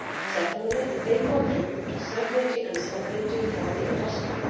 Secondly, they contribute to certainty and stability for the industry.